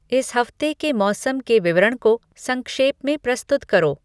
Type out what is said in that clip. इस हफ्ते के मौसम के विवरण को संक्षेप में प्रस्तुत करो